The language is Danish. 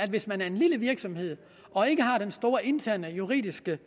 hvis man er en lille virksomhed og ikke har den store interne juridiske